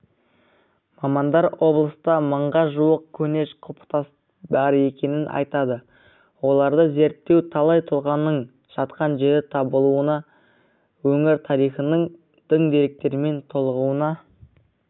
мамандар облыста мыңға жуық көне құлпытас бар екенін айтады оларды зерттеу талай тұлғаның жатқан жері табылуына өңір тарихының тың деректермен толығуына